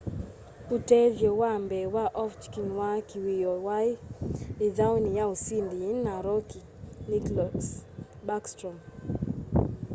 utethyo wa mbee wa ovechkin wa kiwioo wai ithauni ya usindi yina rookie nicklas backstrom